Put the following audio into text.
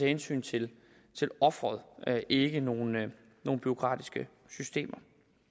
hensyn til offeret og ikke nogen bureaukratiske systemer